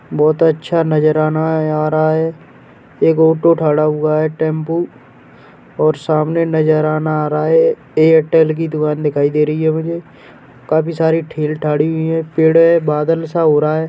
बहुत अच्छा नजराना है आ रहा है एक ऑटो खड़ा हुआ है टेम्पो और सामने नजराना आ रहा है एयरटेल की दुकान दिखाई दे रही है मुझे काफ़ी सारे ठेल ठाढ़ी हुई हैं पेड़े बादल सा हो रहा है।